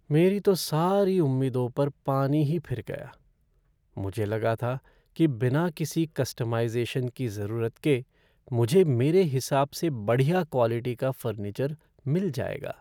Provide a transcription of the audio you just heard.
मेरी तो सारी उम्मीदों पर पानी ही फिर गया, मुझे लगा था कि बिना किसी कस्टमाइज़ेशन की ज़रूरत के मुझे मेरे हिसाब से बढ़िया क्वालिटी का फ़र्नीचर मिल जाएगा।